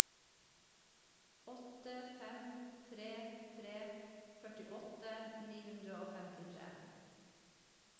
åtte fem tre tre førtiåtte ni hundre og femtitre